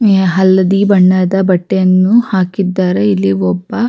ಮೇ ಹಲದಿ ಬಣ್ಣದ ಬಟ್ಟೆಯನ್ನು ಹಾಕಿದ್ದಾರೆ ಇಲ್ಲಿ ಒಬ್ಬ-